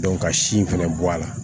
ka sin fɛnɛ bɔ a la